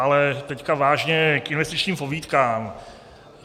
Ale teď vážně k investičním pobídkám.